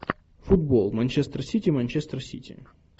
футбол манчестер сити манчестер сити